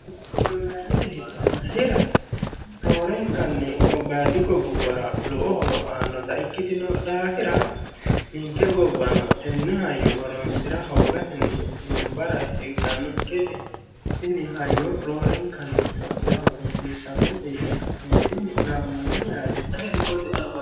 molmaanete hicanna hira roorenkanni gobbayadi gobbubbara lowo horo aannota ikki tino dhaafira ninke gobbano tenne hayyo horonsi'ra hoogatenni duumbara higganno gede tini hayyo roorenkanni tophiyahono hasiissannote yine ka'neentini gaammanni yaate